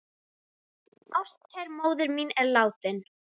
Ástkær móðir mín er látin.